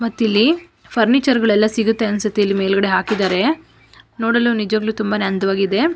ಮತ್ ಇಲ್ಲಿ ಫರ್ನಿಚರ್ ಗಳೆಲ್ಲ ಸಿಗುತ್ತೆ ಅಂತ ಅನ್ಸುತ್ತೆ ಇಲ್ಲಿ ಮೇಲ್ಗಡೆ ಹಾಕಿದ್ದಾರೆ ನೋಡಲು ನಿಜವಾಗ್ಲೂ ತುಂಬಾನೇ ಅಂದವಾಗಿದೆ.